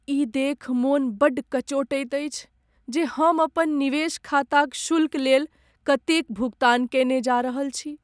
ई देखि मन बड़ कचोटैत अछि जे हम अपन निवेश खाताक शुल्कलेल कतेक भुगतान कयने जा रहल छी।